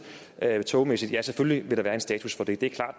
togmæssige ja selvfølgelig vil der være en status for det